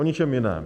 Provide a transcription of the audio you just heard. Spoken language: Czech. O ničem jiném.